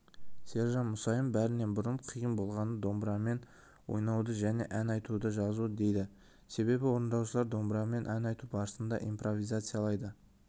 сержан мұсайын бәрінен бұрын қиын болғаны домбырамен ойнауды және ән айтуды жазу дейді себебі орындаушылар домбырамен ән айту барысында импровизациялайды